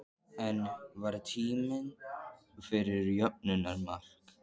En var tími fyrir jöfnunarmark?